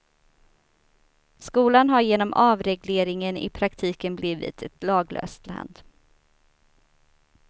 Skolan har genom avregleringen i praktiken blivit ett laglöst land.